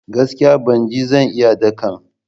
Gaskiya! Bana jin zan iya dakan.